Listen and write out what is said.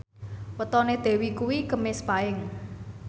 wetone Dewi kuwi Kemis Paing